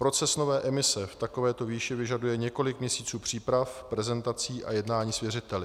Proces nové emise v takovéto výši vyžaduje několik měsíců příprav, prezentací a jednání s věřiteli.